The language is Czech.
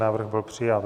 Návrh byl přijat.